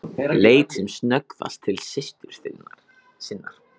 Leit sem snöggvast til systur sinnar.